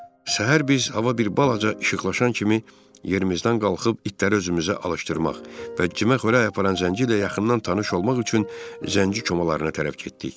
Səhər biz hava bir balaca işıqlaşan kimi yerimizdən qalxıb itləri özümüzə alışdırmaq və cimə xörək aparan zənci ilə yaxından tanış olmaq üçün zənci komalarına tərəf getdik.